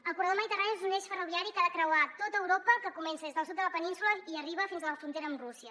el corredor mediterrani és un eix ferroviari que ha de creuar tot europa que comença des del sud de la península i arriba fins a la frontera amb rússia